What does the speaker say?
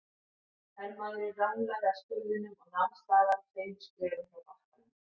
Hermaðurinn ranglaði að skurðinum og nam staðar tveimur skrefum frá bakkanum.